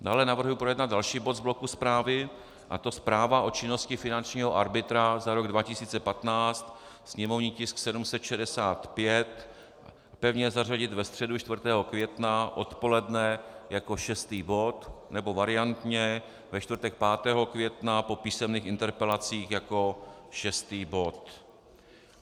Dále navrhuji projednat další bod z bloku zprávy, a to Zpráva o činnosti finančního arbitra za rok 2015, sněmovní tisk 765, pevně zařadit ve středu 4. května odpoledne jako šestý bod, nebo variantně ve čtvrtek 5. května po písemných interpelacích jako šestý bod.